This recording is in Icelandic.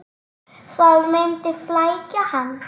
Það myndi flækja hann.